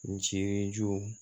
N jirijugu